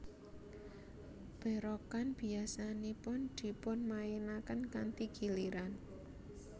Berokan biasanipun dipunmainaken kanthi giliran